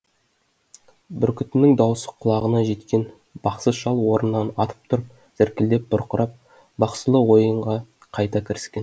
бүркітінің даусы құлағына жеткен бақсы шал орнынан атып тұрып зіркілдеп бұрқырап бақсылық ойынға қайта кіріскен